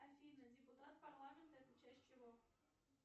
афина депутат парламента это часть чего